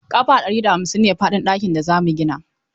Ƙafa ɗari da hamsin ne faɗin ɗakin da za mu gina.